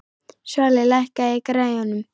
Svali, lækkaðu í græjunum.